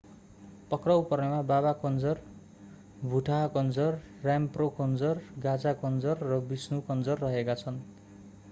पक्राउ पर्नेमा baba kanjar bhutha kanjar rampro kanjar gaza kanjar र vishnu kanjar रहेका छन्